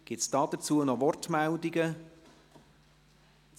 Gibt es noch Wortmeldungen dazu?